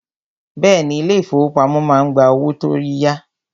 Bẹ́ẹ̀ni, ilé ìfọwọ́pamo má ń gba owó tó tí ya.